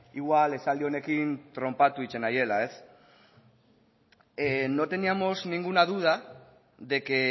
igual esaldi honekin tronpatu egiten naizela no teníamos ninguna duda de que